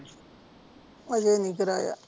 ਹਜੇ ਨਹੀਂ ਕਰਾਇਆ